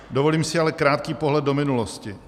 Dovolím si ale krátký pohled do minulosti.